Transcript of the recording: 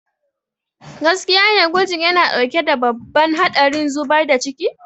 Gaskiya ne, gwajin yana ɗauke da babban haɗarin zubar da ciki.